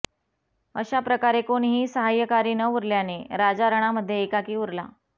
अशाप्रकारे कोणीही साहाय्यकारी न उरल्याने राजा रणामध्ये एकाकी उरला